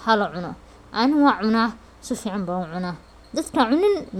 karo. Ani wan cuna si fican ban u cunaa.